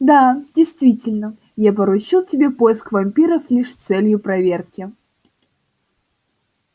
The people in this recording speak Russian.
да действительно я поручил тебе поиск вампиров лишь с целью проверки